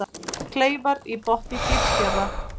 Kleifar í botni Gilsfjarðar.